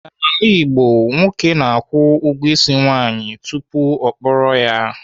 N'ala Igbo, nwoke na-akwụ ụgwọ ịsị nwaanyị tupu ọ kpọrọ ya.